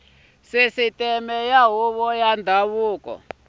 sisiteme ya huvo ya ndhavuko